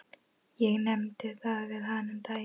Ég nefndi það við hana um daginn.